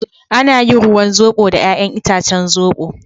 Ana yin ruwan zobo da yayan itacen zobo.